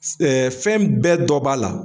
S fɛn bɛɛ dɔ b'a la.